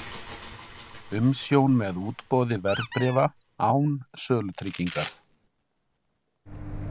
Umsjón með útboði verðbréfa án sölutryggingar.